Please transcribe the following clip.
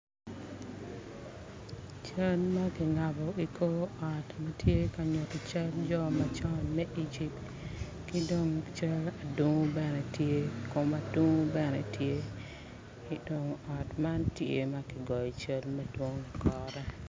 Caan ma kingabo i kor ot matye ka nyuto cal jo macon me Egypt ki dong adungu bene tye kom adungu bene tye ot man tye ma ki goyo i ye cal madwong ikore